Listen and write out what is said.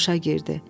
Qamışa girdi.